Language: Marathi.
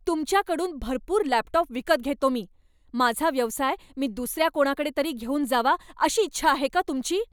तुमच्याकडून भरपूर लॅपटॉप विकत घेतो मी. माझा व्यवसाय मी दुसऱ्या कोणाकडे तरी घेऊन जावा अशी इच्छा आहे का तुमची?